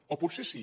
o potser sí